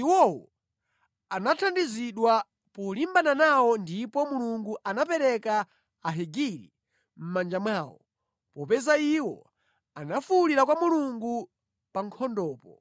Iwowo anathandizidwa polimbana nawo ndipo Mulungu anapereka Ahagiri mʼmanja mwawo; popeza iwo anafuwulira kwa Mulungu pa nkhondopo.